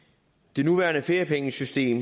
det nuværende feriepengesystem